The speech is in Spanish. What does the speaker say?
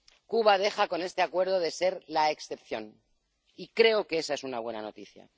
Cuba deja con este Acuerdo de ser la excepción, y creo que esa es una buena noticia.